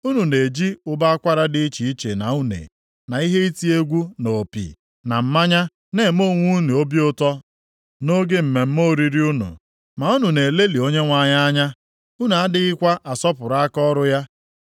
Unu na-eji ụbọ akwara dị iche iche na une, na ihe iti egwu na opi, na mmanya na-eme onwe unu obi ụtọ nʼoge mmemme oriri unu, ma unu na-elelị Onyenwe anyị anya; unu adịghịkwa asọpụrụ akaọrụ ya.